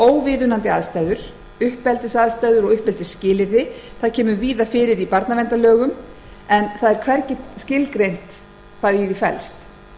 óviðunandi aðstæður uppeldisaðstæður og uppeldisskilyrði koma víða fyrir í barnaverndarlögunum en hvergi er skilgreint hvað í þeim felst